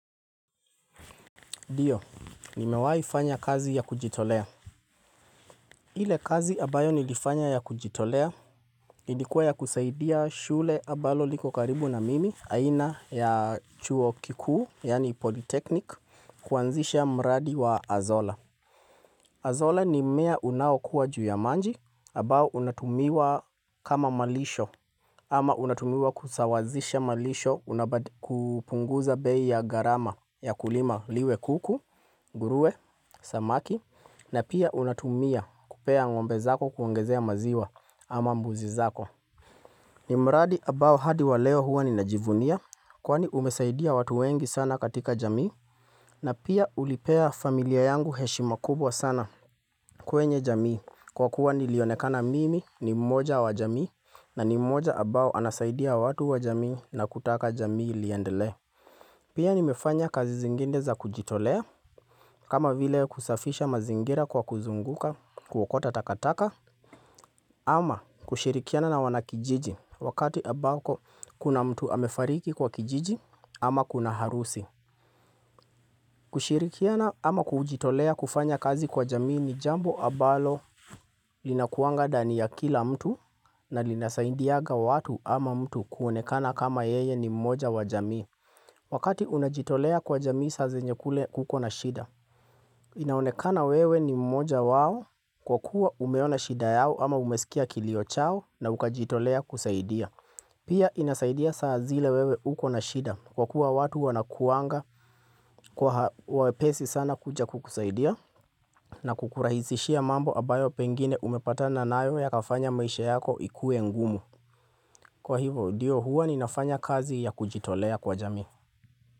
Ndio, nimewaifanya kazi ya kujitolea. Ile kazi ambayo nilifanya ya kujitolea, ilikuwa ya kusaidia shule ambalo liko karibu na mimi, aina ya chuo kikuu, yani ''polytechnic'', kuanzisha mradi wa ''azola''. ''Azola'' ni mmea unawakua juu ya maji, ambao unatumiwa kama malisho, ama unatumiwa kusawazisha malisho kupunguza bei ya gharama ya kulima liwe kuku, nguruwe, samaki na pia unatumia kupea ngombe zako kuongezea maziwa ama mbuzi zako. Ni mradi ambao hadi wa leo huwa ninajivunia kwani umesaidia watu wengi sana katika jamii. Na pia ulipea familia yangu heshima kubwa sana kwenye jamii kwa kuwa nilionekana mimi ni mmoja wa jamii na ni mmoja ambao anasaidia watu wa jamii na kutaka jamii liendelea Pia nimefanya kazi zingine za kujitolea kama vile kusafisha mazingira kwa kuzunguka kuokota takataka ama kushirikiana na wanakijiji wakati ambako kuna mtu amefariki kwa kijiji ama kuna harusi kushirikiana ama kujitolea kufanya kazi kwa jamii ni jambo ambalo linakuanga ndani ya kila mtu na linasaindiaga watu ama mtu kuonekana kama yeye ni mmoja wa jamii Wakati unajitolea kwa jamii saa zenye kule kuko na shida inaonekana wewe ni mmoja wao kwa kuwa umeona shida yao ama umesikia kilio chao na ukajitolea kusaidia Pia inasaidia saa zile wewe uko na shida kwa kuwa watu wanakuanga kwa wepesi sana kuja kukusaidia na kukurahisishia mambo ambayo pengine umepata nayo ya kafanya maisha yako ikue ngumu. Kwa hivo ndio huwa ninafanya kazi ya kujitolea kwa jamii.